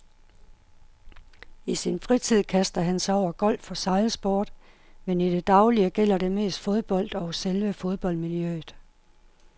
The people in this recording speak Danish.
I sin fritid kaster han sig over golf og sejlsport, men i det daglige gælder det mest fodbold og selve fodboldmiljøet.